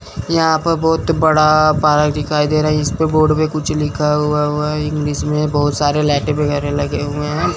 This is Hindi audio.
यहां पर बहुत बड़ा पार्क दिखाई दे रहा है इस पे बोर्ड पे कुछ लिखा हुआ हुआ है इंग्लिश में बहोत सारे लाइटें वगैरह लगे हुए हैं।